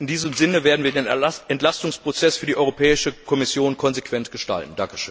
In diesem Sinne werden wir den Entlastungsprozess für die Europäische Kommission konsequent gestalten.